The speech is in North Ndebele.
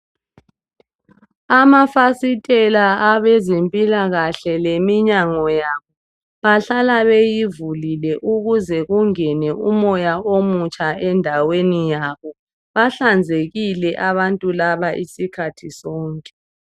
Amafasitela leminyango yabo abezempilakahle bahlala beyivulile ukuze kungene umoya omutsha endaweni yabo bahlanzekile abantu laba.